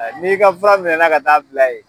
Ɛ n'i ka fura minɛ ka taa bila yen